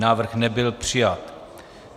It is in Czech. Návrh nebyl přijat.